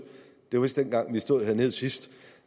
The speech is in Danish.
det var vist dengang vi stod hernede sidst